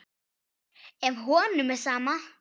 Ef honum er sama.